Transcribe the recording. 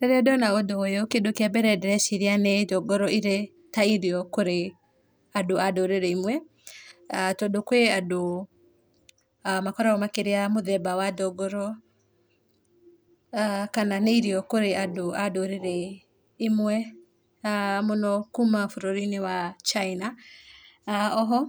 Rĩrĩa ndona ũndũ ũyũ kĩndũ kĩambere ndĩreciria nĩ ndũngũrũ irĩ ta irio kũrĩ andũ a ndũrĩrĩ imwe tondũ kwĩ andũ makoragwo makĩrĩa mũthemba wa ndũngũrũ kana nĩ irio kwĩ andũ a ndũriri imwe na mũno kuma bũrũri-inĩ wa China. Oho